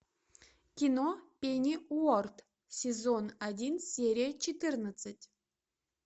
кино пенниуорт сезон один серия четырнадцать